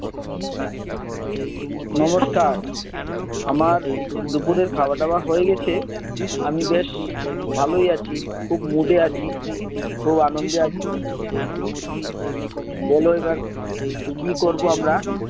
নমস্কার। আমার দুপুরের খাওয়া দাওয়া হয়ে গেছে। আমি বেশ ভালই আছি, খুব mood এ আছি, খুব আনন্দে আছি, বল এবার, কি করবো আমরা?